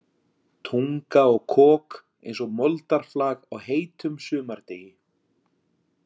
Tunga og kok eins og moldarflag á heitum sumardegi.